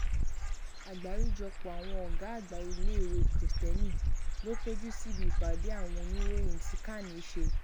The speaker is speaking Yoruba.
àgbáríjọpọ̀ àwọn ọ̀gá àgbà iléèwé kristẹni ló péjú síbi ìpàdé àwọn oníròyìn tí can ṣe